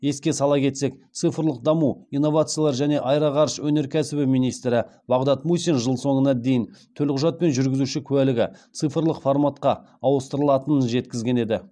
еске сала кетсек цифрлық даму инновациялар және аэроғарыш өнеркәсібі министрі бағдат мусин жыл соңына дейін төлқұжат пен жүргізуші куәлігі цифрлық форматқа ауыстырылатынын жеткізген еді